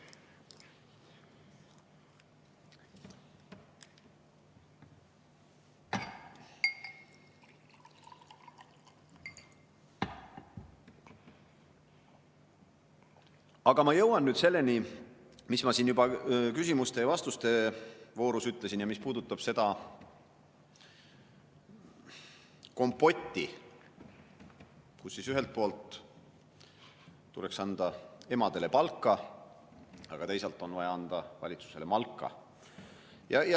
Aga ma jõuan nüüd selleni, mis ma siin juba küsimuste ja vastuste voorus ütlesin ja mis puudutab seda kompotti: ühelt poolt tuleks anda emadele palka, aga teisalt on vaja anda valitsusele malka.